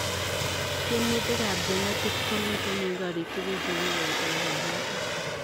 Tiemutik ap jenetik komitei eng koriik tugul chekikoitoe kanyoiseet